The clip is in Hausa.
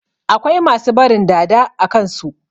Akwai masu barin "dada" a kansu.